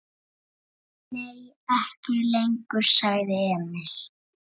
Bíður hans í ofvæni.